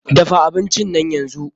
Dafa abinci nan yanzu!